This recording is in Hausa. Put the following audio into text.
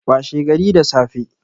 Washe gari da safe